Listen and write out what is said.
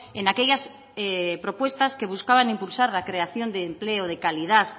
en aquellas propuestas que buscaban impulsar la creación de empleo de calidad